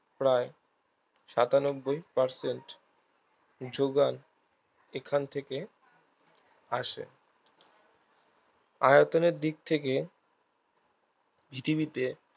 প্রায় সাতানব্বই percent যোগান এখন থেকে আসে আয়তনের দিক থেকে পৃথিবীতে